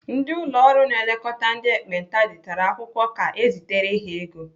Ndị ụlọ ọrụ na-elekọta ndị ekpenta detara akwụkwọ ka ezitere ha ego.